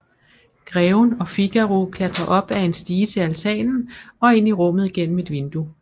Greven og Figaro klatrer op ad en stige til altanen og ind i rummet gennem et vindue